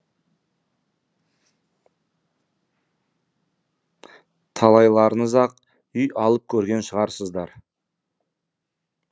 талайларыңыз ақ үй алып көрген шығарсыздар